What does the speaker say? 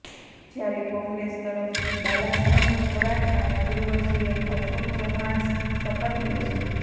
જ્યારે કોંગ્રેસ તરફથી બાલાસાહેબ થોરાટ અને પૂર્વ સીએમ અશોક ચવ્હાણ શપથ લેશે